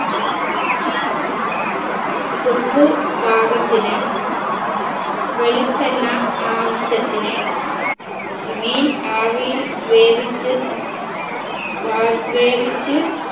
ഉപ്പ് പാകത്തിന് വെളിച്ചെണ്ണ ആവശ്യത്തിന് മീൻ ആവിയിൽ വേവിച്ച് ഉം വാ വേവിച്ച്